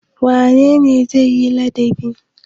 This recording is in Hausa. Wane ne zai yi ladabi?